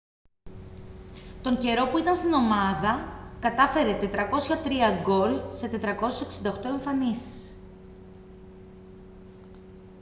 τον καιρό που ήταν στην ομάδα κατάφερε 403 γκολ σε 468 εμφανίσεις